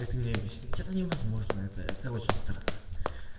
мне объяснить это невозможно это очень странно